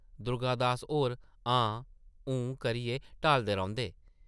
दुर्गा दास होर ‘हां-हूंʼ करियै टालदे रौंह्दे ।